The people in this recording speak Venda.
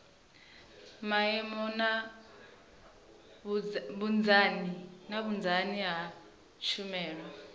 maimo na vhunzani ha tshumelo